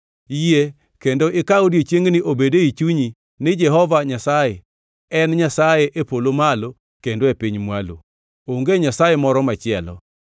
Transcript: Yie kendo ikaw odiechiengni obed ei chunyi ni Jehova Nyasaye en Nyasaye e polo malo kendo e piny mwalo. Onge Nyasaye moro machielo.